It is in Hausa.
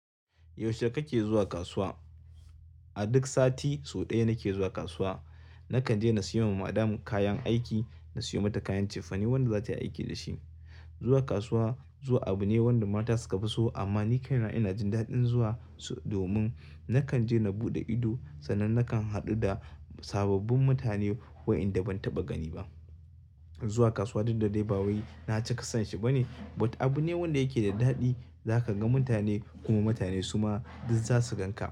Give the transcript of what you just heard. Yaushe kake zuwa kasuwa? A duk sati sau ɗaya nake zuwa kasuwa. Nakan je na sayo wa Madam kayan aiki, na sayo mata kayan cefane wanda za ta yi aiki dashi. Zuwa kasuwa zuwa abu ne wanda mata suka fi so amma ni kaina ina jin daɗin zuwa domin nakan je na buɗe ido sannan nakan haɗu da sababbin mutane waenda ban taɓa gani ba. Zuwa kasuwa duk da dai ba wai na cika son shi ba ne but abu ne wanda yake da daɗi. Za ka ga mutane, kuma mutane suma duk za su gan ka.